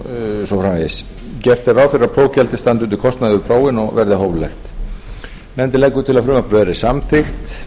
svo framvegis gert er ráð fyrir að prófgjaldið standi undir kostnaði við prófin og verði hóflegt nefndin leggur til að frumvarpið verði samþykkt